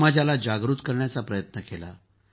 समाजाला जागृत करण्याचा प्रयत्न केला